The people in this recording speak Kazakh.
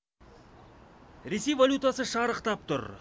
ресей валютасы шарықтап тұр